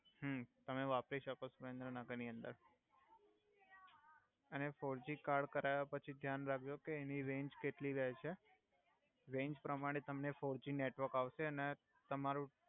હુ તમે વપરી સકો સુરેંદ્રનગર ની અંદર અને ફોરજી કાર્ડ કરાય્વા પછી ધ્યાન રાખ્જો કે એની રેંજ કેટ્લી રહે છે રેંજ પ્રમાણે તમને ફોરજી નેટવર્ક આવ્સે ને તમારુ